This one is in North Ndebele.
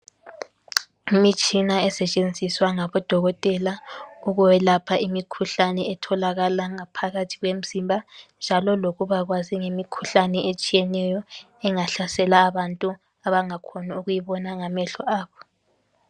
Imitshina esetshenziswa ngabodokotela ukwelapha imikhuhlane etholakala ngaphakathi kwemzimba njalo lokuba kwazi imikhuhlane etshiyeneyo engahlasela abantu abangakhoni ukuyibona ngamehlo abo.